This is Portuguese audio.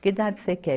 Que idade você quer?